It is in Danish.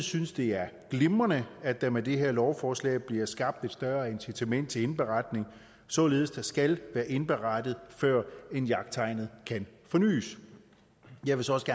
synes det er glimrende at der med det her lovforslag bliver skabt et større incitament til indberetning således at der skal være indberettet før jagttegnet kan fornys jeg vil så også